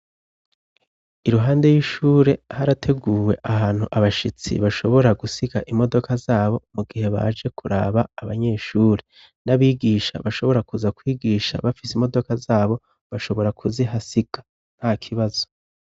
Iruhande y'ishure harateguwe ahantu abashitsi bashobora gusiga imodoka zabo mu gihe baje kuraba abanyeshuri n'abigisha bashobora kuza kwigisha bafise imodoka zabo bashobora kuzihasiga nta kibazo.